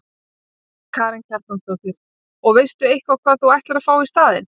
Karen Kjartansdóttir: Og veistu eitthvað hvað þú ætlar að fá í staðinn?